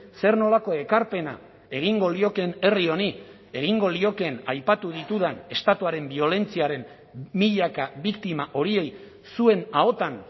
zer nolako ekarpena egingo liokeen herri honi egingo liokeen aipatu ditudan estatuaren biolentziaren milaka biktima horiei zuen ahotan